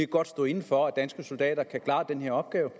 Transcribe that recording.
godt stå inde for at danske soldater kan klare den her opgave